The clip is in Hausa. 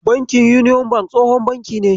Bankin Union bank tsohon banki ne.